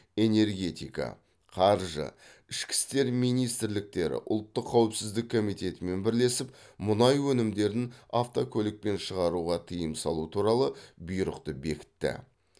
энергетика қаржы ішкі істер министрліктері ұлттық қауіпсіздік комитетімен бірлесіп мұнай өнімдерін автокөлікпен шығаруға тыйым салу туралы бұйрықты бекітті